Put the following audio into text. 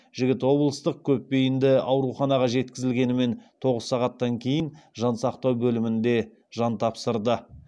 жігіт облыстық көпбейінді ауруханаға жеткізілгенімен тоғыз сағаттан кейін жансақтау бөлімінде жан тапсырды